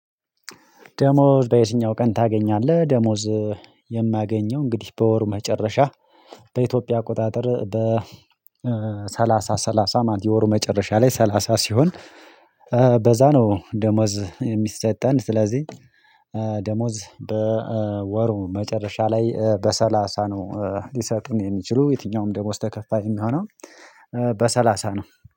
ደሞዝ በየትኛው ቀን ታገኛለህ? ደሞዝ የማገኘው እንግዲህ በወር መጨረሻ በኢትዮጵያ አቆጣጠር በሰላሳ ሰላሳ ማለት የወሩ መጨረሻ ላይ ሰላሳ ሲሆን በዛ ነው ደሞዝ የሚሰጠን ስለዚህ ደሞዝ በወሩ መጨረሻ ላይ በሰላሳ ነው ሊሰጡን የሚችሉ የትኛውም ደሞዝ ተከፋይ የሚሆነው በሰላሳ ነው